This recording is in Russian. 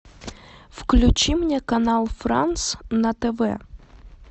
включи мне канал франс на тв